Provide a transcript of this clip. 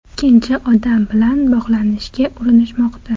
Ikkinchi odam bilan bog‘lanishga urinishmoqda.